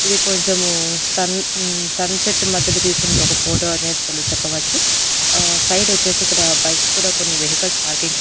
ఇది కొంచెము sun um sunset మధ్యలో తీసినటువంటి ఒక ఫోటో అనేది తెల్ చెప్పవచ్చు అహ్ సైడ్ వచ్చేసి ఇక్కడ బైక్స్ కూడా కొన్ని వెహికల్స్ పార్కింగ్ చే--